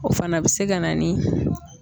O fana bɛ se ka na ni